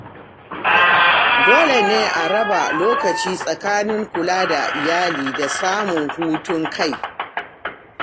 Dole ne a raba lokaci tsakanin kula da iyali da samun hutun kai.